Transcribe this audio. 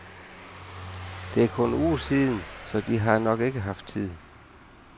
Det er kun en uge siden, så de har nok ikke haft tid.